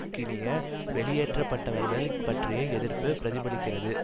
கினிய வெளியேற்றப்பட்டவர்கள் பற்றிய எதிர்ப்பு பிரதிபலிக்கிறது